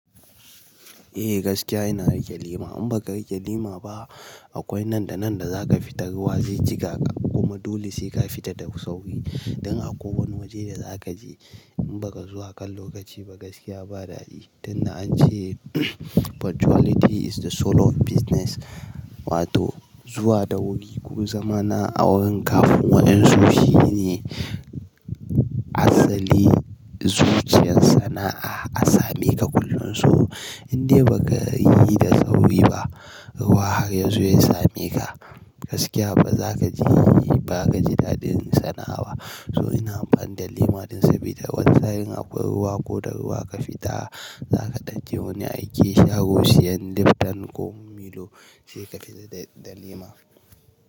Eh gaskiya ina rike lema in baka rike lema ba akwai nan da nan da zaka fita ruwa zai jiƙa ka kuma dole sai ka fita da sauri. Dan a ko wani waje da za kaje in baka zuwa kan lokaci ba gaskiya ba dadi. Tunda an ce punctuality is the soul of business wato zuwa da wuri ko zamana a wurin kafin wa'yansu shine asali zuciyar sana'a a same ka kullun. To in dai baka yi da sauri ba ruwa har yanzu ya same ka gaskiya ba za kaji ba ka ji daɗin sana'a ba. So ina amfani da lema din sabida wasa yin akwai ruwa ko da ruwa ka fita zaka ɗan je wani aiki sharo siyan liftan ko milo sai ka fita da lima.